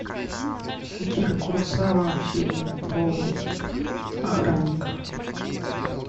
акира куросава фильм про охранников